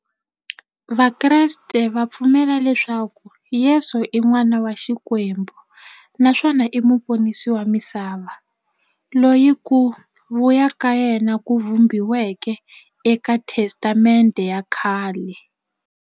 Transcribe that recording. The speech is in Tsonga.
Vakreste va pfumela leswaku Yesu i n'wana wa Xikwembu naswona i muponisi wa misava, loyi ku vuya ka yena ku vhumbiweke e ka Testamente ya khale.